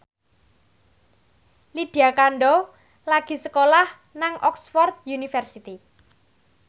Lydia Kandou lagi sekolah nang Oxford university